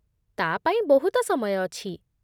ତା' ପାଇଁ ବହୁତ ସମୟ ଅଛି ।